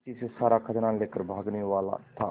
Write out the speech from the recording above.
पीछे से सारा खजाना लेकर भागने वाला था